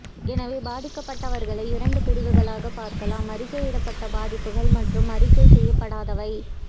எனவே பாதிக்கப்பட்டவர்களை இரண்டு பிரிவுகளாகப் பிரிக்கலாம் அறிக்கையிடப்பட்ட பாதிப்புகள் மற்றும் அறிக்கை செய்யப்படாதவை